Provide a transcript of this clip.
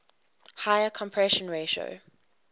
higher compression ratio